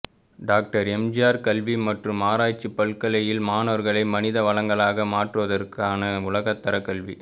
doctor MGR கல்வி மற்றும் ஆராய்ச்சி பல்கலையில் மாணவர்களை மனித வளங்களாக மாற்றுவதற்கான உலகத்தர கல்வி